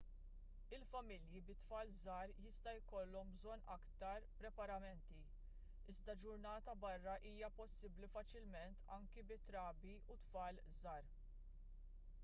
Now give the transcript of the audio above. il-familji bi tfal żgħar jista' jkollhom bżonn aktar preparamenti iżda ġurnata barra hija possibbli faċilment anke bi trabi u tfal żgħar